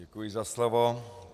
Děkuji za slovo.